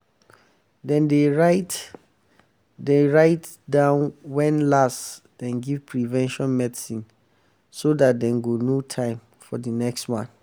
dem dey write dem dey write down when last dem give prevention medicine so that dem go know time for the next one.